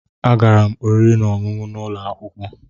M gara oriri na ọṅụṅụ n'ụlọ akwụkwọ.